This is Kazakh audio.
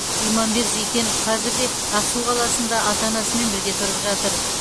иманбек зейкенов қазір де ақсу қаласында ата анасымен бірге тұрып жатыр